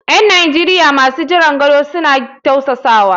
’Yan Najeriya masu jiran gado suna tausasawa.